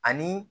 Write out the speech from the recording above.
Ani